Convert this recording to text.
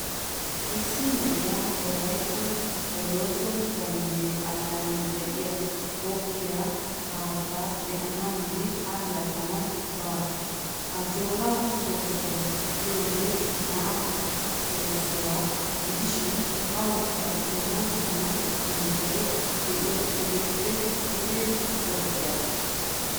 Issi na'iyaa wolayttan bolooso bombbe allaanan de'iya goggiya haattaa be'anawunne allaxxanawu baasu. Ajjoora soossuwa giyoogee naa soossuwa gidishin awukka dumma dumma sunttay de'iyo pudeppe duge goggiyagaa.